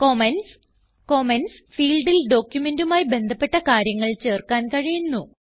comments comments ഫീൽഡിൽ ഡോക്യുമെന്റുമായി ബന്ധപ്പെട്ട കാര്യങ്ങൾ ചേർക്കാൻ കഴിയുന്നു